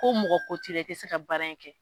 Ko mɔgɔ ko t'i la i tɛ se ka baara in kɛ.